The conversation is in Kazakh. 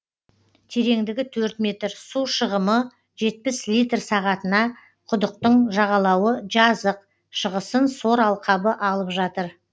тереңдігі төрт метр су шығымы жетпіс литр сағатына құдықтың жағалауы жазық шығысын сор алқабы алып жатыр